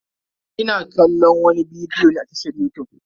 Ina kallon wani bidiyo ne a tashar yutub.